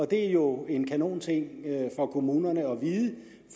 det er jo en kanon ting for kommuner